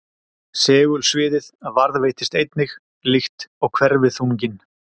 Segulsviðið varðveitist einnig líkt og hverfiþunginn.